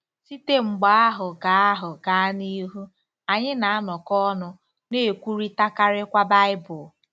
Site mgbe ahụ gaa ahụ gaa n'ihu, anyị na-anọkọ ọnụ, na-ekwurịtakarịkwa Baịbụl.